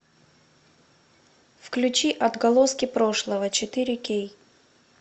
включи отголоски прошлого четыре к